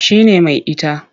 Shi ne mai ita.